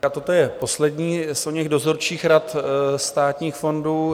Toto je poslední z oněch dozorčích rad státních fondů.